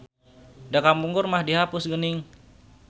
Da kapungkur mah dihapus geuning.